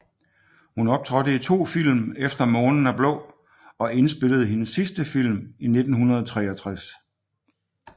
Hun optrådte i to film efter månen er blå og indspillede hendes sidste film i 1963